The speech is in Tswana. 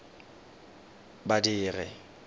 badiri